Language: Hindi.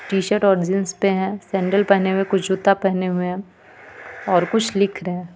टी-शर्ट और जींस पे हैं सैंडल पहने में कुछ जूता पहने हुए हैं और कुछ लिख रहे हैं.